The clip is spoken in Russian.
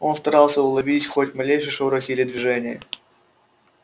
он старался уловить хоть малейший шорох или движение